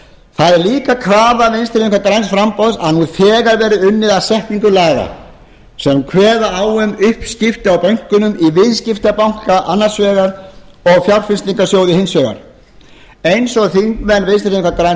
það er líka krafa vinstri hreyfingarinnar græns framboðs að nú þegar verði unnið að setningu laga sem kveða á um uppskipti á bönkunum í viðskiptabanka annars vegar og fjárfestingarsjóði hins vegar eins og þingmenn vinstri hreyfingarinnar græns